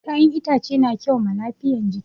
Kayan itace na kyau ma lafiyan jiki